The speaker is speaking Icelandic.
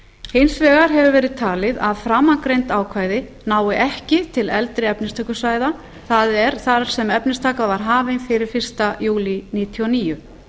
hins vegar hefur verið talið að framangreind ákvæði nái ekki til eldri efnistökusvæða það er þar sem efnistaka var hafin fyrir fyrsta júlí nítján hundruð níutíu og níu